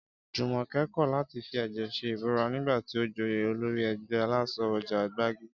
Jùmòké̩ kò̩ láti fi è̩jè̩ s̩e ìbúra nígbà tí ó joyè olórí e̩gbé̩ alás̩o̩ o̩jà Gbági